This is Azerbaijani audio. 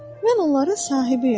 Mən onların sahibiyəm.